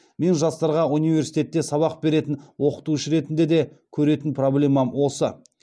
мен жастарға университетте сабақ беретін оқытушы ретінде де көретін проблемам осы